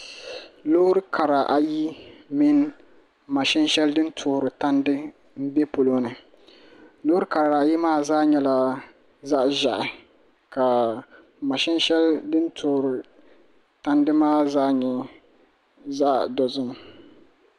Loori kara ayi mini mashin shɛli din toori tandi n bɛ polo ni loori kara ayi maa zaa nyɛla zaɣ ʒiɛhi ka mashin shɛli din toori tandi maa zaa nyɛ zaɣ dozim